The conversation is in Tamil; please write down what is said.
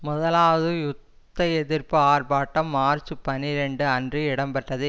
முதலாவது யுத்த எதிர்ப்பு ஆர்ப்பாட்டம் மார்ச் பனிரண்டு அன்று இடம்பெற்றது